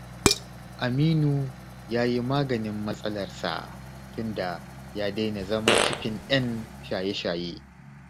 Aminu ya yi maganin matsalarsa tunda ya daina zama cikin 'yan shaye-shaye